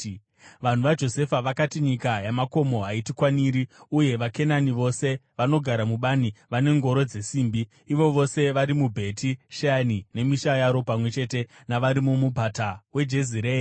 Vanhu vaJosefa vakati, “Nyika yamakomo haitikwaniri, uye vaKenani vose vanogara mubani vane ngoro dzesimbi, ivo vose vari muBheti Sheani nemisha yaro pamwe chete navari muMupata weJezireeri.”